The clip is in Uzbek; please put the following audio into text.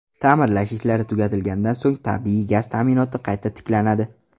Ta’mirlash ishlari tugatilgandan so‘ng tabiiy gaz ta’minoti qayta tiklanadi.